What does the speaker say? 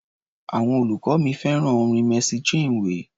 Àwọn olùkọ́ mi fẹ́ràn orin Mercy Chinwe.